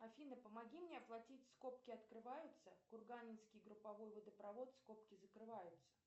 афина помоги мне оплатить скобки открываются курганинский групповой водопровод скобки закрываются